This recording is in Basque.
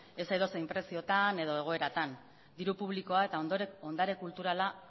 ez edozein preziotan edo egoeratan diru publikoa eta ondare kulturala